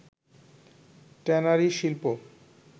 tannery শিল্প